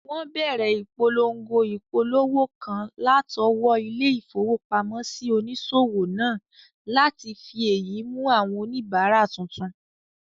Wọ́n bẹ̀rẹ̀ ìpolongo ìpolówó kan látọwọ́ ilé-ìfowópamọ́sí onísòwò náà láti fi èyí mú àwọn oníbàárà tuntun